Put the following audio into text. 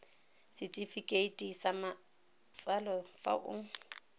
setefikeiti sa matsalo fa o